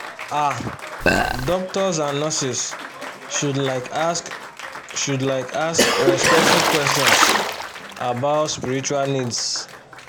ah doctors and nurses should like ask should like ask respectful questions about spiritual needs